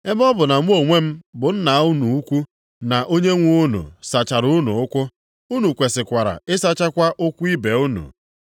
Ebe ọ bụ na mụ onwe m, bụ Nna unu ukwu na Onyenwe unu sachara unu ụkwụ, unu kwesikwara ịsachakwa ụkwụ ibe unu.